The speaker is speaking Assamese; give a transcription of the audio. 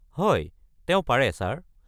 হয়, তেওঁ পাৰে ছাৰ।